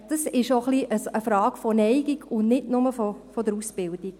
Dies ist auch ein bisschen eine Frage der Neigung, nicht nur der Ausbildung.